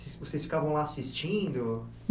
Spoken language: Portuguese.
Vo vocês ficavam lá assistindo?